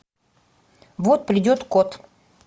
вот придет кот